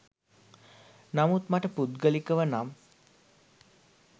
නමුත් මට පුද්ගලිකව නම්